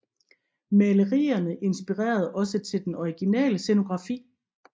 Malerierne inspirerede også til den originale scenografi